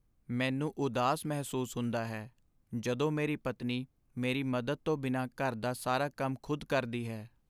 ਮੈਨੂੰ ਉਦਾਸ ਮਹਿਸੂਸ ਹੁੰਦਾ ਹੈ ਜਦੋਂ ਮੇਰੀ ਪਤਨੀ ਮੇਰੀ ਮਦਦ ਤੋਂ ਬਿਨਾਂ ਘਰ ਦਾ ਸਾਰਾ ਕੰਮ ਖੁਦ ਕਰਦੀ ਹੈ।